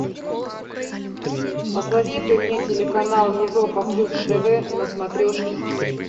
посоветуй мне телеканал европа плюс тв на смотрешке